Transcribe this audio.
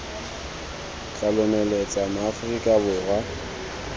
tla lomeletsa ma aforika borwa